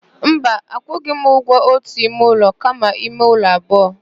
Mba, akwụghị m ụgwọ ótù ime ụlọ kama ime ụlọ abụọ.